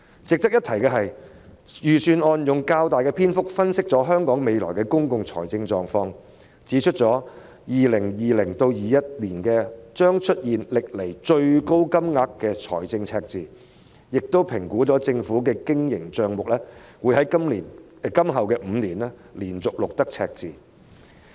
值得一提的是，預算案用了較大篇幅分析香港未來的公共財政狀況，指出香港將會在 2020-2021 年度出現歷來最大的財政赤字，並評估了政府的經營帳目將會自今年起連續5年錄得赤字。